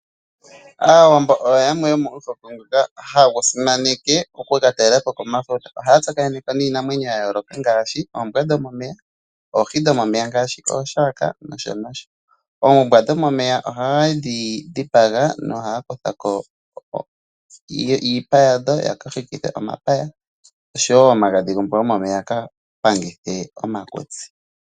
Aawambo oyo yamwe yomomihoko hadhi simaneke okuka talelapo komafuta ohaya tsakanekeko iinamwenyo yayooloka ngaashi oombwa dhomomeya noohi nosho tuu yilwe. Oombwa dhomomoya ohadhi dhipagwa opo yakutheko iipa opo yaka ninge omapaya gawo osho woo omagadhi gombwa yomomeya oshoka ohaga panga omakutsi uuna taga ehama.